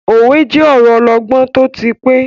Òwe je ọ̀rọ ọlọgbọ́n tó ti pẹ́.